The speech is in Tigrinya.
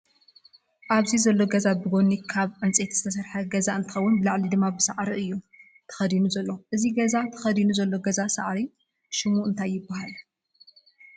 ኣብዚ ዘሎ ገዛ ብጎኒ ካብ ዕንፀይቲ ዝተሰረሐ ገዛ እንትከውን ብላዕሊ ድማ ብሳዕሪ እዩ ተከዲኑ ዘሎ። እዚ ገዛ ተከዲኑሎ ዘሎ ገዛ ሳዕሪ ሽሙ እንታይ ይበሃል ?